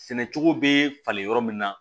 Sɛnɛcogo bɛ falen yɔrɔ min na